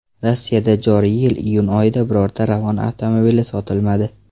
Rossiyada joriy yil iyun oyida birorta Ravon avtomobili sotilmadi.